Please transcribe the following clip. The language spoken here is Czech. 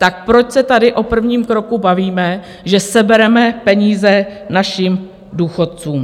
Tak proč se tady o prvním kroku bavíme, že sebereme peníze našim důchodcům?